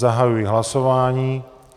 Zahajuji hlasování.